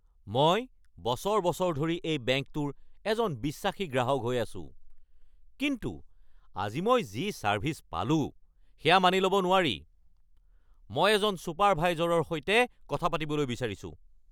মই বছৰ বছৰ ধৰি এই বেংকটোৰ এজন বিশ্বাসী গ্ৰাহক হৈ আছোঁ, কিন্তু আজি মই যি ছাৰ্ভিছ পালো, সেয়া মানি লব নোৱাৰি। মই এজন ছুপাৰভাইজৰৰ সৈতে কথা পাতিবলৈ বিচাৰিছোঁ!